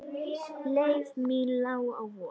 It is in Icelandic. Leið mín lá á Vog.